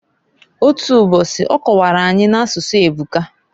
Otu mbosi, ọ kọwara anyi, n'asụsụ ebuka.